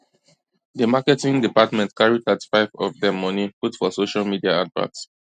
di marketing department carry 35 of dem money put for social media advert